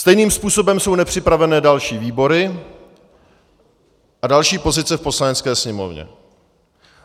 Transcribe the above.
Stejným způsobem jsou nepřipraveny další výbory a další pozice v Poslanecké sněmovně.